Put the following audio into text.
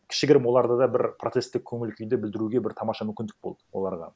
кішігірім оларда да бір протесттік көңіл күйді білдіруге бір тамаша мүмкіндік болды оларға